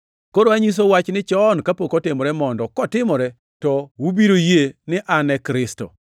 “Koro anyisou wachni chon kapok otimore mondo kotimore, to ubiro yie ni An e Kristo.